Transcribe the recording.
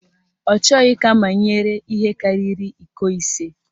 Ọ chọghị ka amanyere ihe karịrị iko ise.